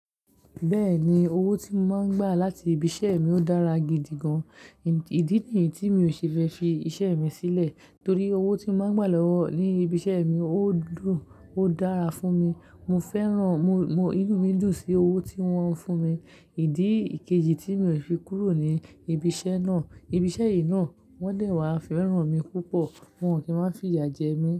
Bẹ́ẹ̀ni owó tí mo máa ń gbà láti ibi iṣẹ́ mi ó dára gidi gan. Ìdí nìyí tí mi ò ṣe fẹ́ fi iṣẹ́ mi sílẹ̀ torí owó tí mo máa ń gbà lọ́wọ́ ní ibi iṣẹ́ mi, ó dùn, ó dára fún mi. Mo fẹ́ràn, inú mi dùn sí owó tí wọ́n ń fún mi. Ìdí ìkejì tí mi ò fi kúrò ní ibi iṣẹ́ náà, ibi iṣẹ́ yìí náà wọ́n dẹ̀ wá fẹ́ràn mi púpọ̀. Wọ́n ò kí máa ń fi ìjà jẹ mí.